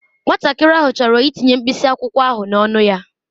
Nwatakịrị ahụ chọrọ itinye mkpịsị akwụkwọ ahụ n'ọnụ ya